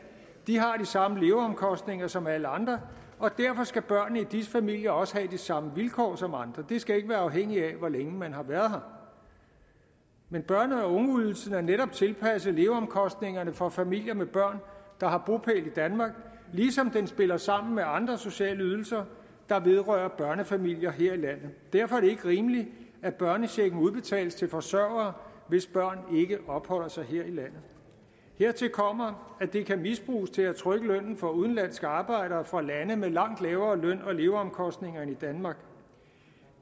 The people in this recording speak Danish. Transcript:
har de samme leveomkostninger som alle andre og derfor skal børnene i disse familier også have de samme vilkår som andre det skal ikke være afhængigt af hvor længe man har været her men børne og ungeydelsen er netop tilpasset leveomkostningerne for familier med børn der har bopæl i danmark ligesom den spiller sammen med andre sociale ydelser der vedrører børnefamilier her i landet derfor er det ikke rimeligt at børnechecken udbetales til forsørgere hvis børn ikke opholder sig her i landet hertil kommer at det kan misbruges til at trykke lønnen for udenlandske arbejdere fra lande med langt lavere løn og leveomkostninger end i danmark